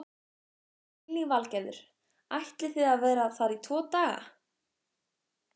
Lillý Valgerður: Ætlið þið að vera þar í tvo daga?